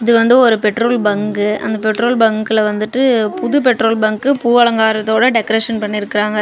இது வந்து ஒரு பெட்ரோல் பங்க்கு . அந்த பெட்ரோல் பங்க்குல வந்துட்டு புது பெட்ரோல் பங்க்கு பூ அலங்காரத்தோட டெக்ரேசன் பண்ணிருக்காங்க.